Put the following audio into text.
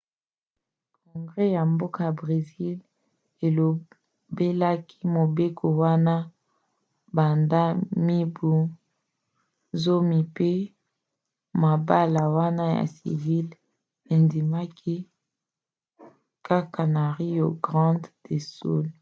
congres ya mboka bresil elobelaki mobeko wana banda mibu 10 mpe mabala wana ya civil endimaki kaka na rio grande do sul